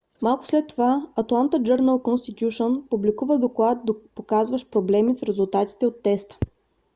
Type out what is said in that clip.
малко след това атланта джърнъл конститюшън публикува доклад показващ проблеми с резултатите от теста